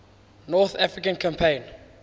north african campaign